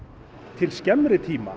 til skemmri tíma